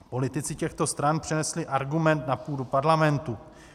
Politici těchto stran přenesli argument na půdu Parlamentu.